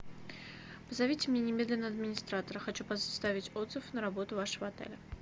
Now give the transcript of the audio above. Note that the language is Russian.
позовите мне немедленно администратора хочу составить отзыв на работу вашего отеля